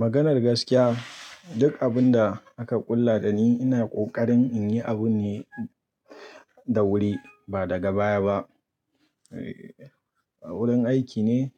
Maganar gaskiya duk abun da aka ƙulla dani ina kokarin in yi abu ne da wuri ba daga baya ba. A wurin aiki ne